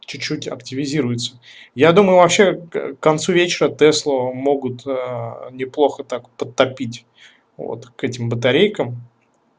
чуть чуть активизируется я думал вообще к концу вечера теслу могут неплохо так подтопить вот к этим батарейкам